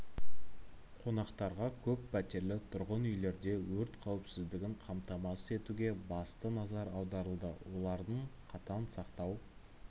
қонақтарға көп пәтерлі тұрғын үйлерде өрт қауіпсіздігін қамтамасыз етуге басты назар аударылды оларды қатаң сақтау